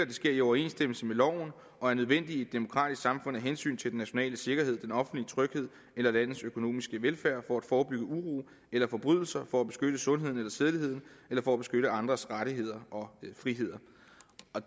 det sker i overensstemmelse med loven og er nødvendigt i et demokratisk samfund af hensyn til den nationale sikkerhed den offentlige tryghed eller landets økonomiske velfærd for at forebygge uro eller forbrydelse for at beskytte sundheden eller sædeligheden eller for at beskytte andres rettigheder og friheder